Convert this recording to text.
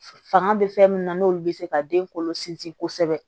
Fanga bɛ fɛn min na n'olu bɛ se ka den kolo sinsin kosɛbɛ